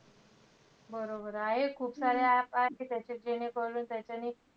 बरोबर. आहेत खूप साऱ्या app आहेत. ज्याच्यात जेणेकरून त्याच्यानि,